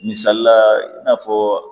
Misalila i n'a fɔ